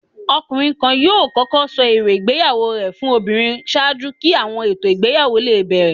Ọkunrin kan yọọ kọkọ sọ eró ìgbéyàwó rẹ fún obírín ṣaaju ki awọn eto igbeyawo le bẹrẹ.